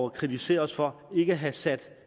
at kritisere os for ikke at have sat